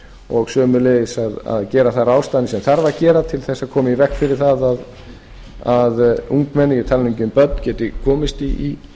og sömuleiðis að gera þær ráðstafanir sem þarf að gera til þess að koma í veg fyrir að ungmenni ég tala nú ekki um börn geti komist